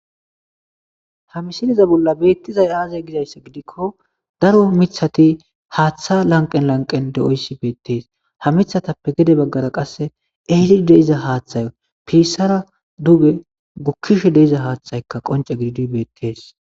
Ha missileza bolla bettizay aaze gizayssa giidiko daaro miththati haththa lanqqen lanqqen deoyssi bettes ha miththatappe gedde baggara qasse elli deiza haththay pissara dugge gukkishe deiza haththayka qoncce giddidi bettes.